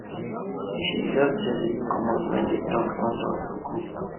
she jus jejely comot wen d talk turn to aproko